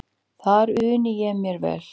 Þar undi ég mér vel.